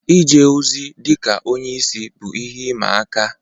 Ije ozi dị ka onye isi bụ ihe ịma aka.